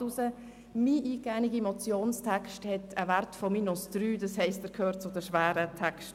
Mein eingegebener Motionstext erreicht einen Wert von -3, das heisst, er gehört zu den schweren Texten.